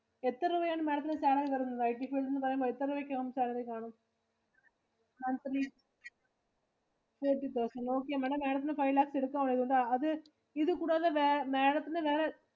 എത്ര രൂപയാണ് Madam ത്തിനു salary തരുന്നത്? IT field എന്ന് പറയുമ്പോ എത്ര രൂപ ഒക്കെ salary കാണും? Thirty thousand Okay Madam. Madam ത്തിനു five lakhs എടുക്കാം. അത് ഇത് കൂടാതെ Madam ത്തിനു വേറെ